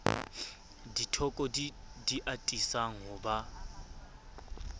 dithoko di atisang ho ba